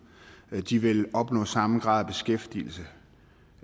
og at de vil opnå samme grad